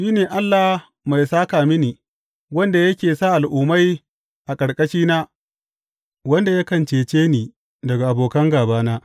Shi ne Allah mai sāka mini, wanda yake sa al’ummai a ƙarƙashina, wanda yakan cece ni daga abokan gābana.